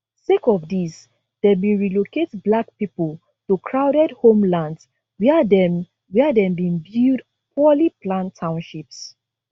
sake of dis dem bin relocate black pipo to crowded homelands wia dem wia dem bin build poorly planned townships